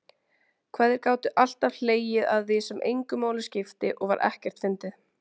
Hvað þeir gátu alltaf hlegið að því sem engu máli skipti og var ekkert fyndið.